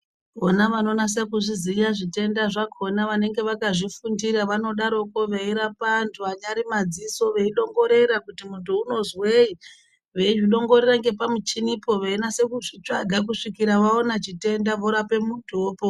Vona vanonasa kuzviziya zvitenda zvakona vanenge avakazvifundira vanodaroko veirapa antu anyari madziso veidongorera kuti muntu unonzweyi zveizvidongorera ngepamuchinipo kusvikira vaone chitenda vorapa muntu opora.